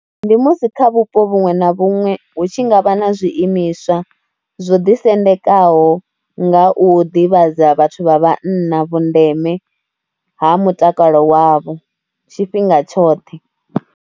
Ndi musi kha vhupo vhuṅwe na vhuṅwe hu tshi nga vha na zwiimiswa zwo ḓisendekaho nga u ḓivhadza vhathu vha vhanna vhundeme ha mutakalo wavho, tshifhinga tshoṱhe.